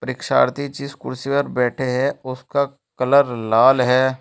इक्षार्थी जिस कुर्सी पर बैठे है उसका कलर लाल है।